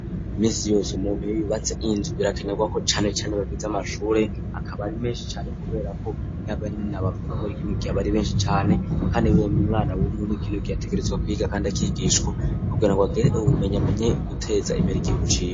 Iminsi yose umuntu iyo yubatse inzu birakanerwako canecane bagwiza amashure akaba ari menshi cane kubera ko nk'abana bavuka muri kino gihe baba ari benshi cane kandi umwana w'iki gihe ategerezwa kwiga kandi akigishwa kugira ngo agire ubumenyi, amenye guteza imbere igihugu ciwe.